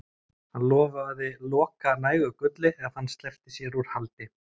Hann lofaði Loka nægu gulli ef hann sleppti sér úr haldi.